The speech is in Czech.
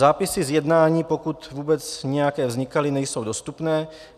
Zápisy z jednání, pokud vůbec nějaké vznikaly, nejsou dostupné.